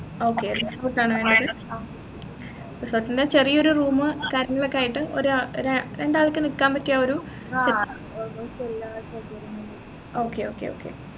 okay room ആണോ വേണ്ടത് എന്ന ചെറിയൊരു room കാര്യങ്ങളൊക്കെ ആയിട്ട് ഒരാഒരാ രണ്ടാൾക്ക് നിക്കാൻ പറ്റിയൊരു